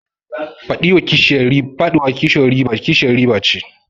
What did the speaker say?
Faɗiwa kishiyar riba ce.